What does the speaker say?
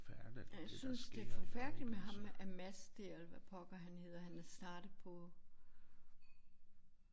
Jeg synes det er forfærdeligt med ham Amas dér eller hvad pokker han hedder han er startet på